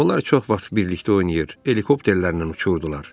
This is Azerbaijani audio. Onlar çox vaxt birlikdə oynayır, helikopterlərlə uçurdular.